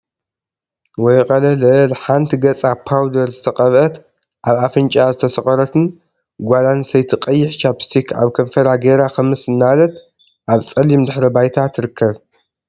ወይ ቀለለል! ሓንቲ ገፃ ፓውደር ዝተቀብአት አብ አፍንጭኣ ዝተሰቆረትን ጓል አንስተይቲ ቀይሕ ቻፕስቲክ አብ ከንፈራ ገይራ ክምስ እናበለት አብ ፀሊም ድሕረ ባይታ ትርከብ፡፡